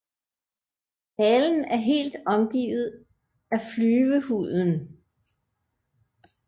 Halen er helt omgivet af flyvehuden